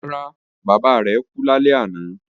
Rárá, bàbá rẹ̀ kú lálẹ́ àná